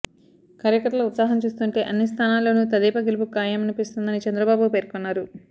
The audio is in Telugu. కార్యకర్తల ఉత్సాహం చూస్తుంటే అన్ని స్థానాల్లోనూ తెదేపా గెలుపు ఖాయమనిపిస్తోందని చంద్రబాబు పేర్కొన్నారు